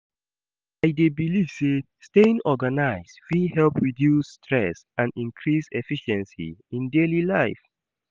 I dey believe say staying organized fit help reduce stress and increase efficiency in daily life.